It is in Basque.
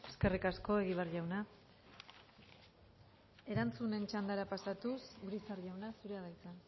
eskerrik asko egibar jauna erantzunen txandara pasatuz urizar jauna zurea da hitza